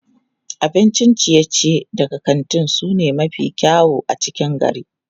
Abincin ciye-ciye daga kantin su ne mafi kyau a cikin gari.